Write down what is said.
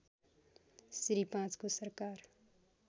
श्री ५ को सरकार